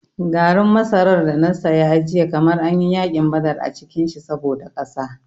Garin masarar da na saya jiya kamar an yi yakin badar a cikin shi saboda ƙasa.